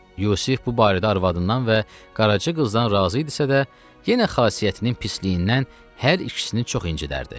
Yusif bu barədə arvadından və Qaraca qızdan razı idisə də, yenə xasiyyətinin pisliyindən hər ikisini çox incidərdi.